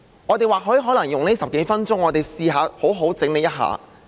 我們或許可以用這10多分鐘發言時間，嘗試好好整理一下。